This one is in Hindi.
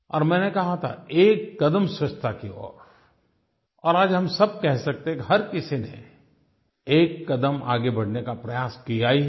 और मैंने कहा था एक कदम स्वच्छ्ता की ओर और आज हम सब कह सकते हैं कि हर किसी ने एक कदम आगे बढ़ने का प्रयास किया ही है